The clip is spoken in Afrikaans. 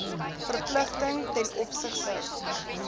verpligting t o